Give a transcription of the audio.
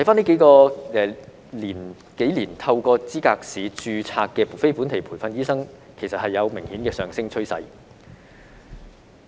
這數年透過資格試註冊的非本地培訓醫生，其實有明顯的上升趨勢。